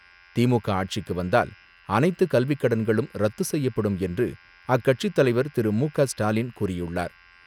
திமுக ஆட்சிக்கு வந்தால் அனைத்து கல்விக்கடன்களும் ரத்து செய்யப்படும் என்று அக்கட்சித் தலைவர் திரு மு க ஸ்டாலின் கூறியுள்ளார்.